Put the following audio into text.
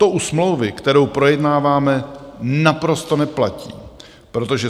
To u smlouvy, kterou projednáváme, naprosto neplatí, protože